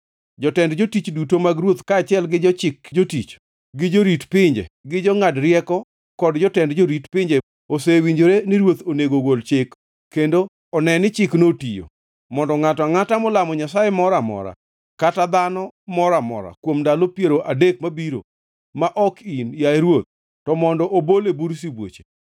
Jotend jotich duto mag ruoth, kaachiel gi jochik jotich, gi jorit pinje, gi jongʼad rieko kod jotend jorit pinje osewinjore ni ruoth onego ogol chik, kendo one ni chikno otiyo, mondo ngʼato angʼata molamo nyasaye moro amora kata dhano moro amora kuom ndalo piero adek mabiro, ma ok in, yaye ruoth, to mondo obol e bur sibuoche.